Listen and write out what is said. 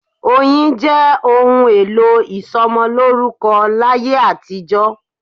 Oyin jẹ́ òun èlò ìsomolórúkọ láyé àtijó